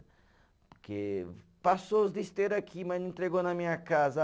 Porque passou os listeiro aqui, mas não entregou na minha casa.